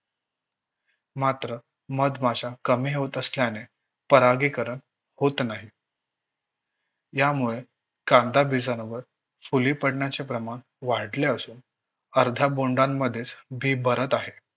मात्र मधमाशा कमी होत असल्याने परागीकरण होत नाही. यामुळे कांदा फुली पडण्याचे प्रमाण वाढले असून अर्धा बोन्डामधेच बी भरत आहे.